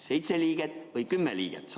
Seitse liiget või kümme liiget?